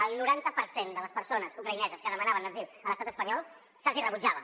al noranta per cent de les persones ucraïneses que demanaven asil a l’estat espanyol se’ls hi rebutjava